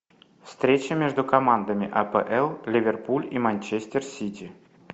встреча между командами апл ливерпуль и манчестер сити